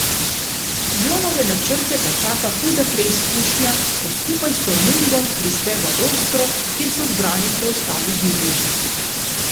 Jonove načrte pa čaka huda preizkušnja, ko skupaj s Tormundom prispe v Ostro, kjer so zbrani preostali divježi.